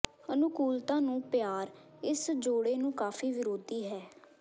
ਅਨੁਕੂਲਤਾ ਨੂੰ ਪਿਆਰ ਇਸ ਜੋੜੇ ਨੂੰ ਕਾਫ਼ੀ ਵਿਰੋਧੀ ਹੈ